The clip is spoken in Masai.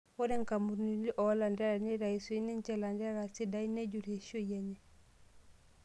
Ore nkampunini olantererek neitayu sii niche ilanterera sidain nejur eishioi enye.